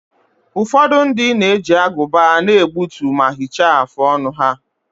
Ụfọdụ ndị na-eji agụba na-egbutu ma hichaa afụ ọnụ ha.